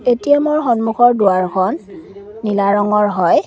ATM ৰ সন্মুখৰ দুৱাৰখন নীলা ৰঙৰ হয়।